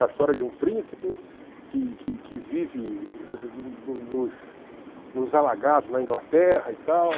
É a história de um príncipe que que que vive nos nos alagados na Inglaterra e tal.